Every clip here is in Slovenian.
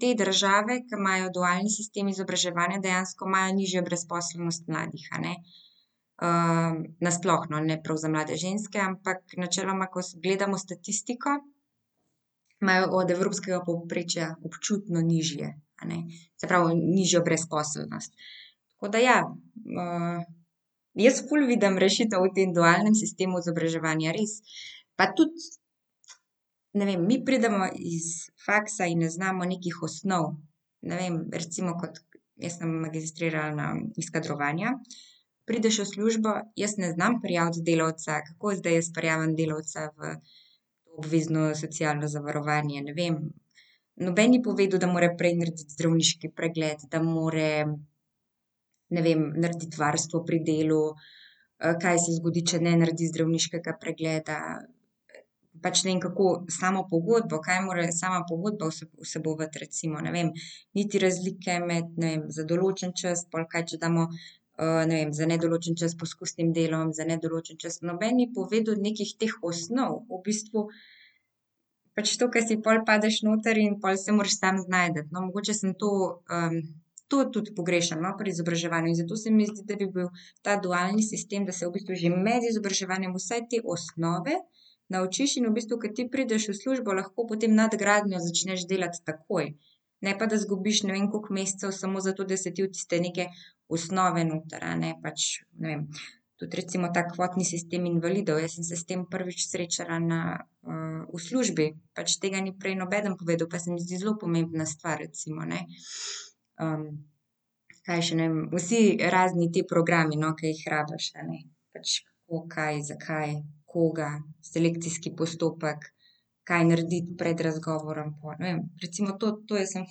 te države, ki imajo dualni sistem izobraževanja, dejansko imajo nižjo brezposelnost mladih, a ne. nasploh, no, ne prav za mlade ženske, ampak načeloma, ko gledamo statistiko, imajo od evropskega povprečja občutno nižje, se pravi nižjo brezposelnost. Tako da je, jaz ful vidim rešitev v tem dualnem sistemu izobraževanja, res, pa tudi, ne vem, mi pridemo iz faksa in ne znamo nekih osnov. Ne vem, recimo kot, jaz sem magistrirala iz kadrovanja. Prideš v službo, jaz ne znam prijaviti delavca, kako zdaj jaz prijavim delavca v obvezno socialno zavarovanje, ne vem. Noben ni povedal, da mora prej narediti zdravniški pregled, da mora, ne vem, narediti varstvo pri delu, kaj se zgodi, če ne naredi zdravniškega pregleda, pač ne vem, kako samo pogodbo, kaj mora sama pogodba vsebovati recimo, ne vem, niti razlike med, ne vem, za določen čas, pol, kaj če damo, ne vem, za nedoločen čas s poskusnim delom, za nedoločen čas, noben ni povedal nekih teh osnov, v bistvu pač to, ke si, pol padeš noter in pol se moraš sam znajti, no, mogoče samo to, to tudi pogrešam, no, pri izobraževanju in zato se mi zdi, da bi bil ta dualni sistem, da se v bistvu že med izobraževanjem vsaj osnove naučiš in v bistvu, ke ti prideš v službo, lahko potem nadgradnjo začneš delati takoj, ne pa da izgubiš ne vem koliko mesecev samo zato, da se ti v tiste neke, osnove noter, a ne, pač ne vem, tudi recimo ta kvotni sistem invalidov, jaz sem se s tem prvič srečala na, v službi. Pač tega ni prej nobeden povedal, pa se mi zdi zelo pomembna stvar recimo, ne, Kaj še ne vem, vsi razni ti programi, no, ke jih rabiš, a ne. Pač kako, kaj, zakaj, koga, selekcijski postopek, kaj narediti pred razgovorom , ne vem, recimo to, to sem jaz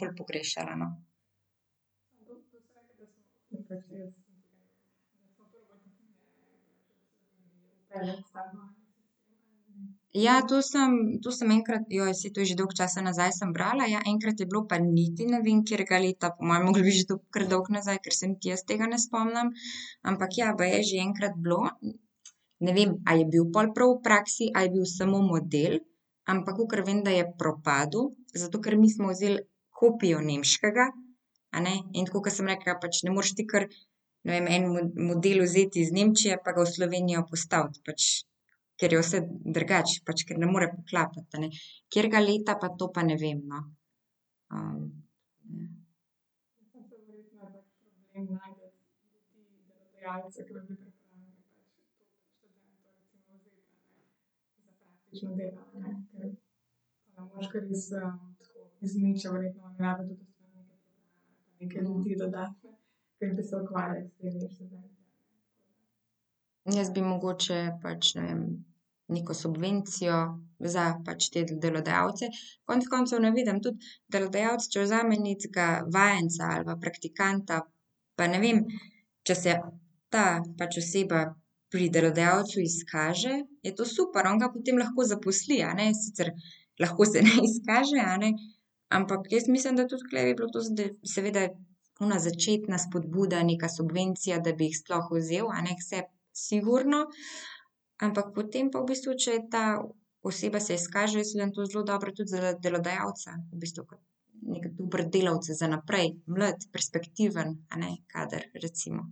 ful pogrešala, no. Ja, to sem, to sem enkrat, saj to je že dolgo časa nazaj, sem brala ja, enkrat je bilo, pa niti ne vem, katerega leta, po moje je moglo biti že to kar dolgo nazaj, ker se niti jaz tega ne spomnim. Ampak ja, baje je že enkrat bilo, ne vem, a je bil pol prav v praksi ali je bil samo model, ampak kakor vem, da je propadel, zato ker mi smo vzeli kopijo nemškega, a ne, in tako ke sem rekla, pač ne moreš ti kar, ne vem, en model vzeti iz Nemčije pa ga v Slovenijo postaviti pač, ker je vse drugače, pač, ker ne more poklapati, a ne. Katerega leta pa, to pa ne vem, no. Jaz bi mogoče pač, ne vem, neko subvencijo za, pač te delodajalce. Konec koncev ne vidim tudi delodajalec, če vzame nekega vajenca ali pa praktikanta, pa ne vem, če se, ta pač oseba pri delodajalcu izkaže, je to super, on ga potem lahko zaposli, a ne, sicer lahko se ne izkaže, a ne, ampak jaz mislim, da tudi tule bi bilo to z seveda ona začetna spodbuda, neka subvencija, da bi jih sploh vzel, a ne, k sebi, sigurno, ampak potem pa v bistvu, če je ta oseba se izkaže, jaz vidim, to je zelo dobro tudi zaradi delodajalca v bistvu kot neki dober delavec za naprej, mlad, perspektiven, a ne, kader recimo.